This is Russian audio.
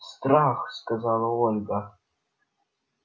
страх сказала ольга